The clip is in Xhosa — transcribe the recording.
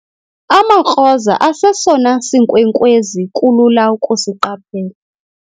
amaKroza asesona sinkwenkwezi kulula ukusiqaphela